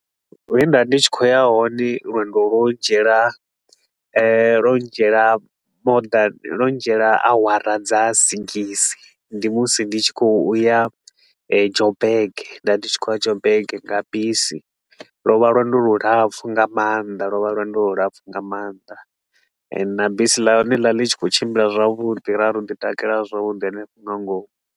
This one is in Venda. He nda vha ndi tshi khou ya hone lwendo lwo ndzhiela lwo ndzhiela more than eh lwo ndzhiela awara dza sigisi. Ndi musi ndi tshi khou ya eh Joburg nda ndi tshi khou ya Joburg nga bisi. Lwo vha lwendo lu lapfu nga maanḓa lwo vha lwendo lu lapfu nga maanḓa and na bisi ḽa hone ḽo vha ḽi tshi khou tshimbila zwavhuḓi ra ro ḓi takalela zwavhuḓi hanefho nga ngomu.